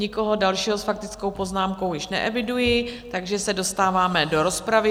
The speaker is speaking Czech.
Nikoho dalšího s faktickou poznámkou již neeviduji, takže se dostáváme do rozpravy.